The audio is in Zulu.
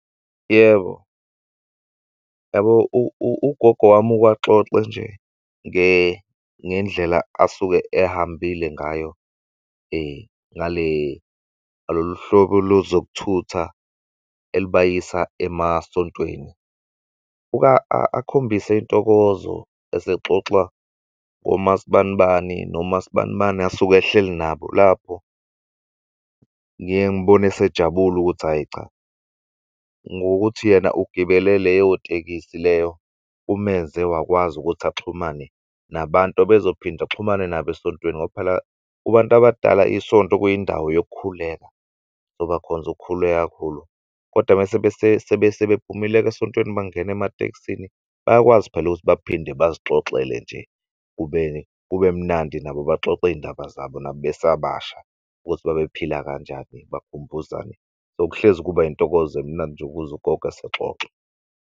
Yebo, yabo ugogo wami ukaxoxe nje ngendlela asuke ehambile ngayo ngalolu hlobo lozokuthutha elibayisa emasontweni. Ukakhombise intokozo esexoxa ngomasibanibani nomasibanibani asuke ehleli nabo lapho. Ngiye ngibone esejabule ukuthi hhayi cha ngokuthi yena ugibele leyo tekisi leyo kumenze wakwazi ukuthi axhumane nabantu abezophinde axhumane nabo esontweni ngoba phela kubantu abadala isonto kuyindawo yokukhuleka, so bakhonze ukukhuleka kakhulu. Kodwa mese sebephumile-ke esontweni bangene ematekisini bayakwazi phela ukuthi baphinde bazixoxele nje kube kube mnandi nabo baxoxiy'ndaba zabo nabo besabasha ukuthi babephila kanjani bakhumbuzane nokuhlezi kuba yintokozo emnandi nje ukuzw'gogo esexoxa.